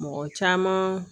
Mɔgɔ caman